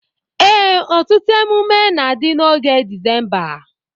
Ee, ọtụtụ emume na-adi n'oge December.